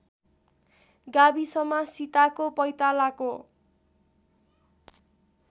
गाविसमा सीताको पैतालाको